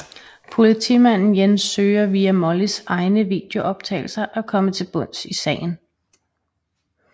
Politimanden Jens søger via Mollys egne videooptagelser at komme til bunds i sagen